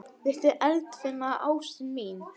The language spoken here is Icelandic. Litla eldfima ástin mín.